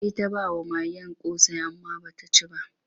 Sai ta ba wa magen ƙosai amma ba ta ci ba.